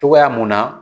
Togoya mun na